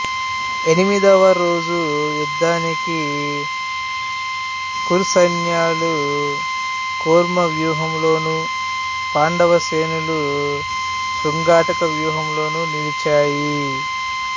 ఎనిమిదవ రోజు యుద్ధానికి కురు సైన్యాలు కూర్మ వ్యూహంలోను పాండవ సేనలు శృంగాటక వ్యూహములో నిలిచాయి